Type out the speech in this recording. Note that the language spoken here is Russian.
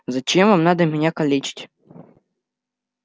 зачем вам надо меня калечить